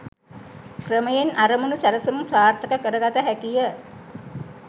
ක්‍රමයෙන් අරමුණු සැලසුම් සාර්ථක කර ගත හැකිය.